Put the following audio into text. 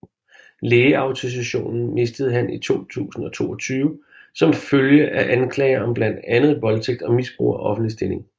Lægeautorisationen mistede han i 2022 som følge af anklager om blandt andet voldtægt og misbrug af offentlig stilling